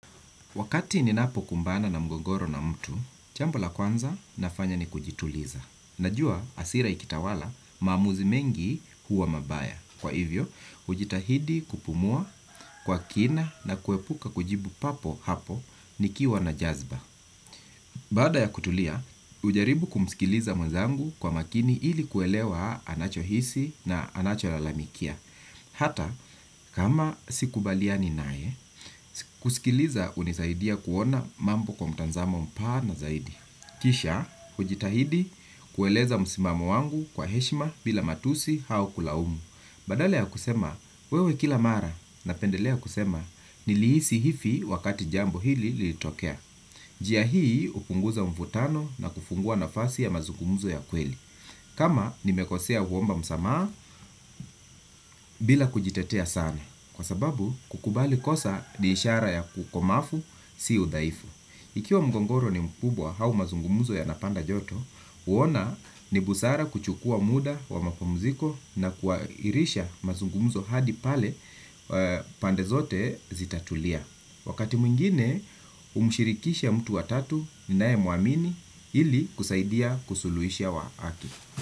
Wakati ninapokumbana na mgogoro na mtu, chambo la kwanza nafanya ni kujituliza. Najua jasira ikitawala maamuzi mengi huwa mabaya. Kwa hivyo, hujitahidi kupumua kwa kina na kuepuka kujibu papo hapo nikiwa na jazba. Baada ya kutulia, hujaribu kumskiliza mwenzangu kwa makini ili kuelewa anachohisi na anacholalamikia. Hata, kama sikubaliani naye, kusikiliza hunisaidia kuona mambo kwa mtazamo mpana zaidi. Kisha, hujitahidi kueleza msimamo wangu kwa heshima bila matusi au kulaumu. Badala ya kusema, wewe kila mara napendelea kusema, niliisi hivi wakati jambo hili lilitokea. Njia hii hupunguza mvutano na kufungua nafasi ya mazungumzo ya kweli. Kama, nimekosea huomba msamaha bila kujitetea sana. Kwa sababu, kukubali kosa ni ishara ya ukomavu, si udhaifu. Ikiwa mgogoro ni mkubwa au mazungumuzo yanapata joto, huona ni busara kuchukua muda wa mapamuziko na kuairisha mazungumzo hadi pale pande zote zitatulia. Wakati mwingine, humshirikisha mtu wa tatu ninayemuamini ili kusaidia kusuluhisha wakati.